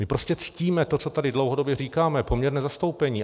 My prostě ctíme to, co tady dlouhodobě říkáme, poměrné zastoupení.